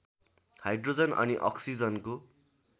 hydrogen अनि अक्सिजनको